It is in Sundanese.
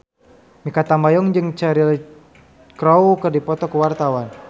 Mikha Tambayong jeung Cheryl Crow keur dipoto ku wartawan